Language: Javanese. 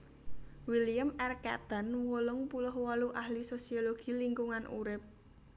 William R Catton wolung puluh wolu ahli sosiologi lingkungan urip